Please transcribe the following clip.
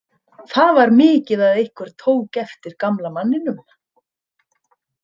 Það var mikið að einhver tók eftir gamla manninum.